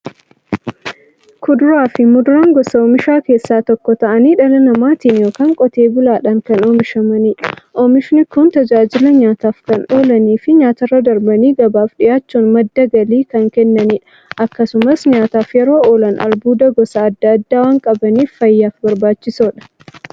Kuduraafi muduraan gosa oomishaa keessaa tokko ta'anii, dhala namaatin yookiin qotee bulaadhan kan oomishamaniidha. Oomishni Kunis, tajaajila nyaataf kan oolaniifi nyaatarra darbanii gabaaf dhiyaachuun madda galii kan kennaniidha. Akkasumas nyaataf yeroo oolan, albuuda gosa adda addaa waan qabaniif, fayyaaf barbaachisoodha.